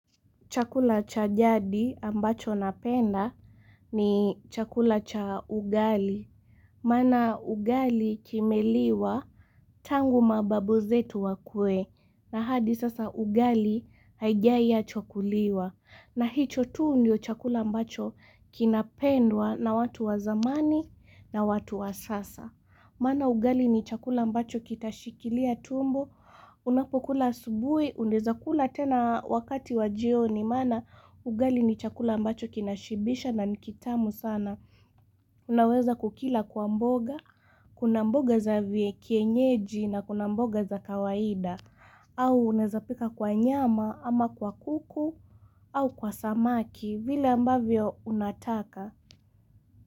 Chakula cha jadi ambacho napenda ni chakula cha ugali. Maana ugali kimeliwa tangu mababu zetu wakwe na hadi sasa ugali haijaiachwa kuliwa. Na hiicho tu ndio chakula ambacho kinapendwa na watu wa zamani na watu wa sasa. Maana ugali ni chakula ambacho kitashikilia tumbo. Unapokula asubuhi, unaweza kula tena wakati wa jioni maana ugali ni chakula ambacho kinashibisha na ni kitamu sana Unaweza kukila kwa mboga, kuna mboga za kienyeji na kuna mboga za kawaida au unaezapika kwa nyama ama kwa kuku au kwa samaki vile ambavyo unataka.